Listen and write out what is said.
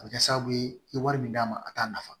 A bɛ kɛ sababu ye i ye wari min d'a ma a t'a nafa